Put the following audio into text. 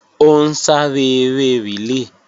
Ó ń sáré eré rìlé